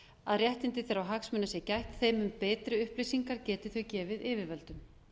að réttinda þeirra og hagsmuna sé gætt þeim mun betri upplýsingar geti þau gefið yfirvöldum